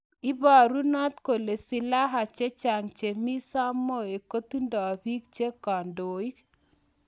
Iparunot kole silaha chechang chemii samoei kotindoi pik che kandoik